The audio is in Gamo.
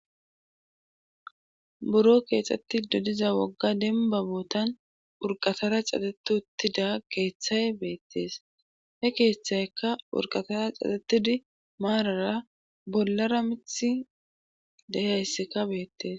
Buro keexxettido diza wogga denba bootan urqatara cateti uttida keeththay beettees he keeththaykka wurqatara caxetidi maarara bollara mithi dehaysseka beettees.